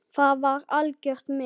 Það var algjört met.